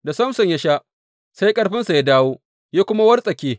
Da Samson ya sha, sai ƙarfinsa ya dawo, ya kuma wartsake.